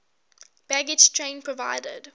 baggage train provided